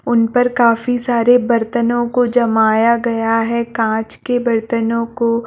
उन पर काफी सारे बर्तनों को जमाया गया है कांच के बर्तनों को--